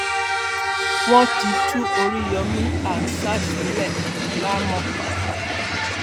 wọn ti tú oríyọmi hamsat sílẹ láàámọ